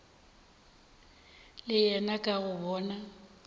le yena ka go bona